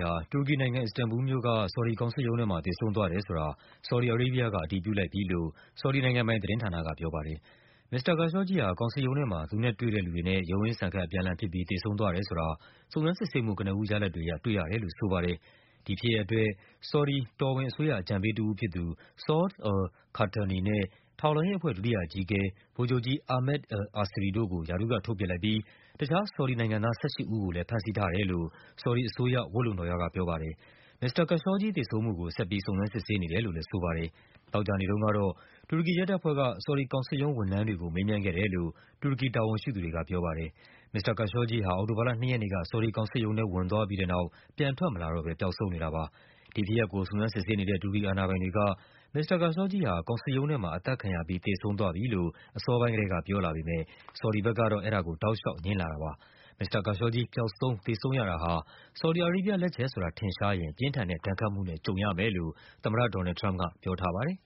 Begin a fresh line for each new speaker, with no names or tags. ဟာ တူရကီနိုင်ငံ၊ အစ္စတန်ဘူလ်မြို့က ဆော်ဒီ ကောင်စစ်ရုံးထဲမှာ သေဆုံးသွားတယ် ဆိုတာ ဆော်ဒီ အာရေးဘီးယားက အတည်ပြုလိုက်ပြီလို့ ဆော်ဒီနိုင်ငံပိုင်သတင်းဌာနက ပြောပါတယ်။ မစ္စတာ Khashoggi ဟာ ကောင်စစ်ရုံးထဲမှာ သူနဲ့တွေ့တဲ့လူတွေနဲ့ ရုန်းရင်းဆန်ခတ် အပြန်အလှန် ဖြစ်ပြီး သေဆုံးသွားတယ် ဆိုတာ စုံစမ်းစစ်ဆေးမှု ကနဦးရလဒ်တွေအရ တွေ့ရတယ်လို့ ဆိုပါတယ်။ ဒီဖြစ်ရပ်အတွက် ဆော်ဒီ တော်ဝင် အကြံပေးတဦးဖြစ်သူ Saud al-Qahtani နဲ့ ထောက်လှမ်းရေး အဖွဲ့ ဒုတိယအကြီးအကဲ ဗိုလ်ချုပ်ကြီး Ahmed El Asiri တို့ကို ရာထူးကထုတ်ပစ်လိုက်ပြီး တခြား ဆော်ဒီနိုင်ငံသား ၁၈ ဦးကိုလည်း ဖမ်းဆီးထားတယ်လို့ ဆော်ဒီအစိုးရ ဝတ်လုံတော်ရက ပြောပါ တယ်။ မစ္စတာ Khashoggi သေဆုံးမှုကို ဆက်ပြီး စုံစမ်းစစ်ဆေးနေတယ်လို့လည်း ဝတ်လုံတော်ရ ကပြောပါတယ်။ သောကြာနေ့တုန်းကတော့ တူရကီရဲတပ်ဖွဲ့က ဆော်ဒီကောင်စစ်ရုံး ဝန်ထမ်းတွေကို မေးမြန်းခဲ့တယ် လို့ တူရကီတာဝန်ရှိသူတွေက ပြောပါတယ်။ မစ္စတာ Khashoggi ဟာ အောက်တိုဘာလ ၂ ရက်နေ့က ဆော်ဒီကောင်စစ်ရုံးထဲ ဝင်သွားပြီး တဲ့နောက် ပြန်ထွက်မလာတော့ဘဲ ပျောက်ဆုံးနေတာပါ။ ဒီဖြစ်ရပ်ကို စုံစမ်းစစ်ဆေးနေတဲ့ တူရကီအာဏာပိုင်တွေက မစ္စတာ Khashoggi ဟာ ကောင်စစ်ရုံး ထဲမှာ အသတ်ခံရပြီး သေဆုံး သွားပြီလို့ အစောပိုင်းကတည်းက ပြောလာပေမဲ့ ဆော်ဒီဘက် ကတော့ အဲဒါကို တောက်လျှောက် ငြင်းလာပါတယ်။ မစ္စတာ Khashoggi ပျောက်ဆုံး သေဆုံးရတာဟာ ဆော်ဒီ အာရေးဘီးယား လက်ချက်ဆိုတာ ထင်ရှားရင် ပြင်းထန်တဲ့ ဒဏ်ခတ်မှုနဲ့ ကြုံရမယ်လို့ သမ္မတ ဒေါ်နယ်လ်ဒ် ထရမ့်ပ်က ပြောထားပါတယ်